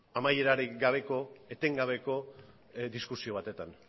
amaierarik gabeko etengabeko diskusio batetan